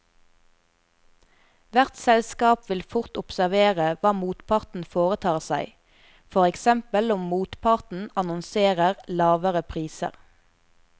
Hvert selskap vil fort observere hva motparten foretar seg, for eksempel om motparten annonserer lavere priser.